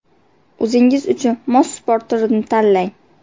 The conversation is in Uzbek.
O‘zingiz uchun mos sport turini tanlang.